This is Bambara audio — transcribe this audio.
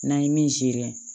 N'an ye min seri